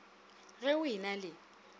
ge o e na le